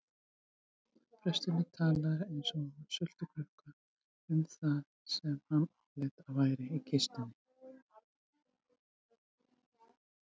Presturinn talaði eins og sultukrukka um það sem hann áleit að væri í kistunni.